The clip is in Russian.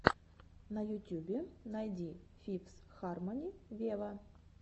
на ютюбе найди фифс хармони вево